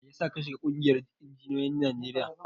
Mai yasa ka shiga ƙungiyar injiniyoyin Najeriya?